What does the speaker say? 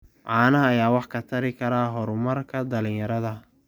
Caanaha ayaa wax ka tari kara horumarka dhalinyarada.